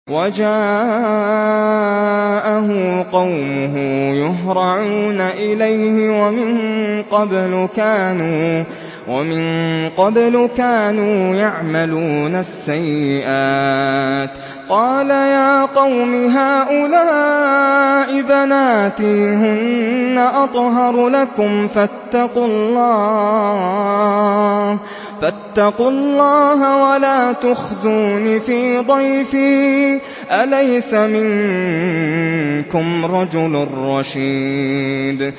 وَجَاءَهُ قَوْمُهُ يُهْرَعُونَ إِلَيْهِ وَمِن قَبْلُ كَانُوا يَعْمَلُونَ السَّيِّئَاتِ ۚ قَالَ يَا قَوْمِ هَٰؤُلَاءِ بَنَاتِي هُنَّ أَطْهَرُ لَكُمْ ۖ فَاتَّقُوا اللَّهَ وَلَا تُخْزُونِ فِي ضَيْفِي ۖ أَلَيْسَ مِنكُمْ رَجُلٌ رَّشِيدٌ